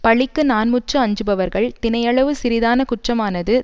பழிக்கு நான்முற்று அஞ்சுபவர்கள் தினையளவு சிறிதான குற்றமானது